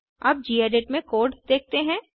अब गेडिट में कोड देखते हैं